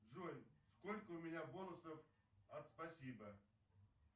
джой сколько у меня бонусов от спасибо